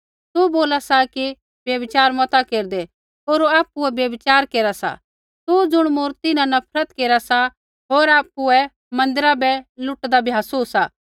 तू बोला सा कि व्यभिचार मता केरदै होर आपुऐ व्यभिचार केरा सा तू ज़ुण मूर्ति न नफरत केरा सा होर आपुऐ मन्दिरा बै लुटदा भ्यासु सा